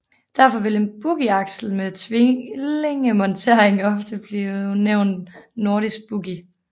Derfor vil en boogieaksel med tvillingemontering ofte blive benævnt nordisk boogie